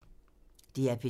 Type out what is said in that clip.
DR P3